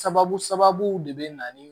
Sababu sababu de bɛ na ni